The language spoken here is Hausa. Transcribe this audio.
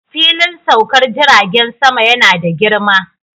Filin saukar jiragen sama yana da girma